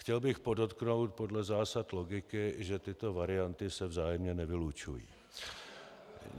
Chtěl bych podotknout podle zásad logiky, že tyto varianty se vzájemně nevylučují.